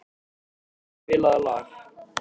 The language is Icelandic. Gísla, spilaðu lag.